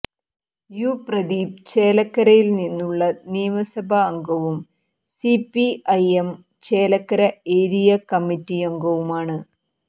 U Pradeep ചേലക്കരയില്നിന്നുള്ള നിയമസഭാംഗവും CPI M Chelakkara area കമ്മിറ്റിയംഗവുമാണ്